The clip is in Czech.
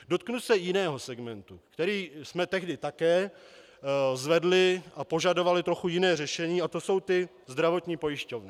Dotknu se jiného segmentu, který jsme tehdy také zvedli, a požadovali trochu jiné řešení, a to jsou ty zdravotní pojišťovny.